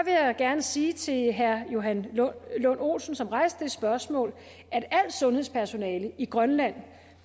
jeg gerne sige til herre johan lund olsen som rejste det spørgsmål at alt sundhedspersonale i grønland